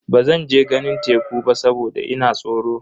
Bazan je ganin teku ba saboda ina tsoro.